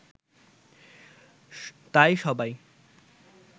তাই সবাই